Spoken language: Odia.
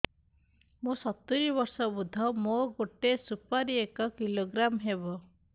ମୁଁ ସତୂରୀ ବର୍ଷ ବୃଦ୍ଧ ମୋ ଗୋଟେ ସୁପାରି ଏକ କିଲୋଗ୍ରାମ ହେବ